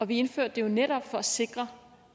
vi indførte det jo netop for at sikre